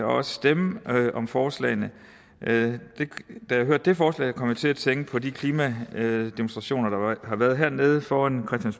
også stemme om forslagene da jeg hørte det forslag kom jeg til at tænke på de klimademonstrationer der har været hernede foran